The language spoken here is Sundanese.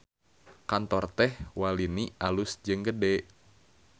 Kantor Teh Walini alus jeung gede